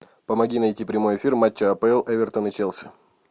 помоги найти прямой эфир матча апл эвертон и челси